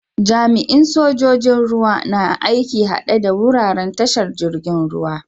Jami'in sojoji'n ruwa na aiki a'hadde da wuraren tashar jirigin ruwa.